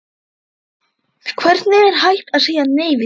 Hvernig er hægt að segja nei við því?